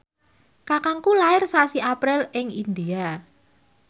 kakangku lair sasi April ing India